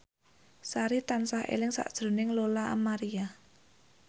Sari tansah eling sakjroning Lola Amaria